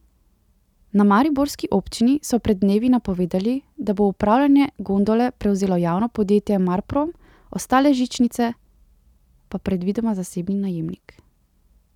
Na mariborski občini so pred dnevi napovedali, da bo upravljanje gondole prevzelo javno podjetje Marprom, ostale žičnice pa predvidoma zasebni najemnik.